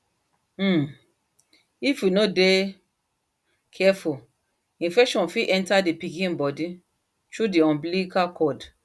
um if we no de careful infection fit enter the pikin body through the umbilical cord